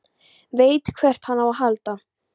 Veit hvert hann á að halda.